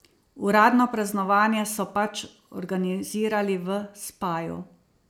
Uradno praznovanje so pač organizirali v Spaju.